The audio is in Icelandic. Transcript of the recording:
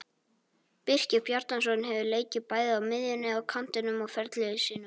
Birkir Bjarnason hefur leikið bæði á miðjunni og kantinum á ferli sínum.